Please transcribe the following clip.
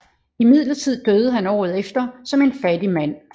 Imidlertid døde han året efter som en fattig mand